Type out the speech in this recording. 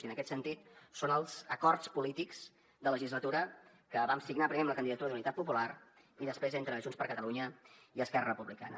i en aquest sentit són els acords polítics de legislatura que vam signar primer amb la candidatura d’unitat popular i després entre junts per catalunya i esquerra republicana